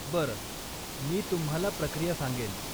बरं, मी तुम्हाला प्रक्रिया सांगेन.